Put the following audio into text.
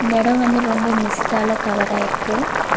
இந்த எடம் வந்து ரொம்ப மிஸ்ட்டால கவர் ஆயிருக்கு.